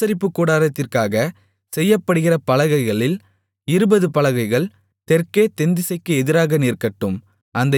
ஆசரிப்புக் கூடாரத்திற்காக செய்யப்படுகிற பலகைகளில் இருபது பலகைகள் தெற்கே தென்திசைக்கு எதிராக நிற்கட்டும்